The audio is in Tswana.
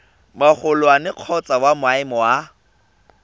magolwane kgotsa wa maemo a